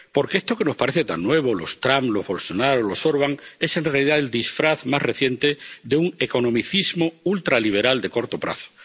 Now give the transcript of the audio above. Porque esto que nos parece tan nuevo —los Trump, los Bolsonaro, los Orbán— es en realidad el disfraz más reciente de un economicismo ultraliberal de corto plazo.